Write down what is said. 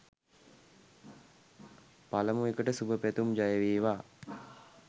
පළමු එකට සුභ පැතුම් ජය වේවා